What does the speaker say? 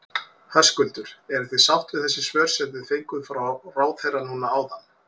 Höskuldur: Eruð þið sátt við þessi svör sem þið fenguð frá ráðherra núna áðan?